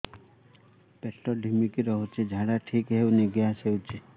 ପେଟ ଢିମିକି ରହୁଛି ଝାଡା ଠିକ୍ ହଉନି ଗ୍ୟାସ ହଉଚି